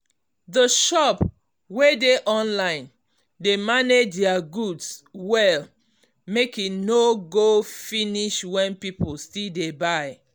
the shop wey dey online dey manage their goods well make e no go finish when people still dey buy.